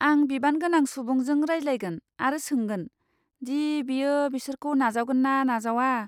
आं बिबानगोनां सुबुंजों रायज्लायगोन आरो सोंगोन दि बियो बिसोरखौ नाजावगोन ना नाजावा।